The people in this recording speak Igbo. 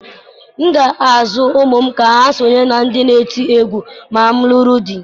M ga-azụ ụmụ m ka ha sonye ndị n'eti egwu ma m lụrụ di.